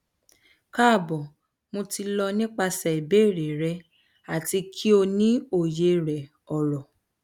kaabo mo ti lọ nipasẹ ibeere rẹ ati ki o ni oye rẹ oro